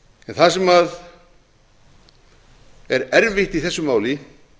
það sem er erfitt í þessu máli